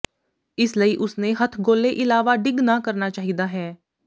ਇਸ ਲਈ ਉਸ ਨੇ ਹੱਥਗੋਲੇ ਇਲਾਵਾ ਡਿੱਗ ਨਾ ਕਰਨਾ ਚਾਹੀਦਾ ਹੈ